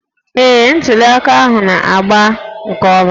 Ee, ntuli aka ahụ na-aga nke ọma